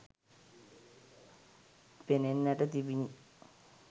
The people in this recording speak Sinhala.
පෙනෙන්නට තිබිණි